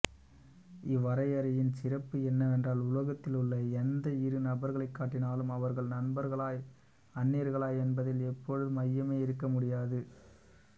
இவ்வரையறையின் சிறப்பு என்னவென்றால் உலகத்திலுள்ள எந்த இரு நபர்களைக் காட்டினாலும் அவர்கள் நண்பர்களா அன்னியர்களா என்பதில் இப்பொழுது ஐயமே இருக்கமுடியாது